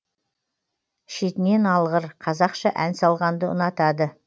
шетінен алғыр қазақша ән салғанды ұнатады